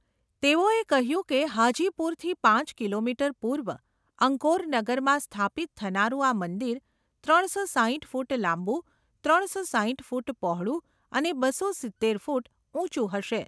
તેઓએ કહ્યું કે હાજીપુરથી પાંચ કિલોમીટર પૂર્વ, અંકોરનગરમાં સ્થાપિત થનારું આ મંદિર, ત્રણ સો સાઈઠ ફુટ લાંબુ, ત્રણ સો સાઈઠ ફુટ પહોળું અને બસો સિત્તેર ફુટ ઉંચુ હશે.